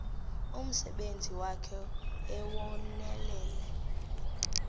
umsebenzi wakhe ewunonelele